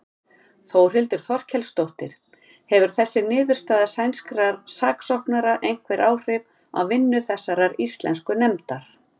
Þórhildur Þorkelsdóttir: Hefur þessi niðurstaða sænskra saksóknara einhver áhrif á vinnu þessarar íslensku nefndar?